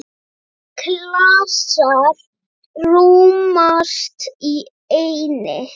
Margir klasar rúmast í einni.